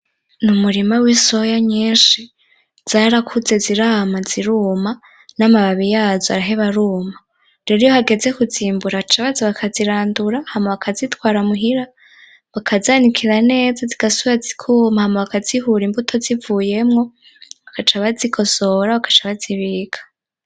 N'umurima w'isoya nyinshi, zarakuze zirama; ziruma; n'amababi yazo araheba aruma, rero iyo hageze kuzimbura baca baza bakazirandura hama bakazitwara muhira; bakazanikira neza zigasubira zikuma, hama bakazihura imbuto zivuyemwo bagaca bazigosora bagaca bazibika.